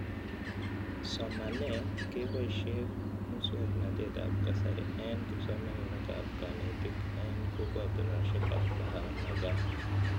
Somanet kepoishe muswog'natet ab kasari eng'kipsomanik ak kanetik eng' kokwatonoshek ab Bahawalnagar